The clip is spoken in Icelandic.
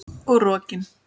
Og rokin.